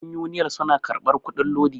yan uniyal suna karbar kudin lodi